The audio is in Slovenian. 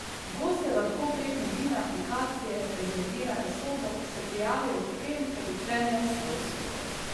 Gostje lahko prek mobilne aplikacije rezervirajo sobo, se prijavijo v hotel ter odklenejo svojo sobo.